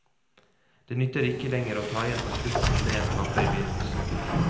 Det nytter ikke lenger å ta igjen på slutten det en taper i begynnelsen.